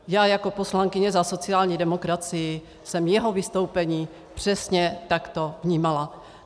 Já jako poslankyně za sociální demokracii jsem jeho vystoupení přesně takto vnímala.